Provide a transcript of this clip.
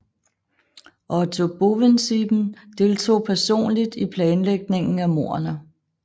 Otto Bovensiepen deltog personligt i planlægningen af mordene